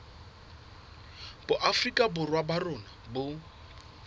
boafrika borwa ba rona bo